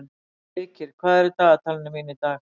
Heikir, hvað er í dagatalinu mínu í dag?